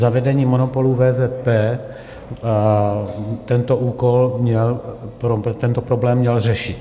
Zavedení monopolu VZP tento úkol mělo, tento problém mělo řešit.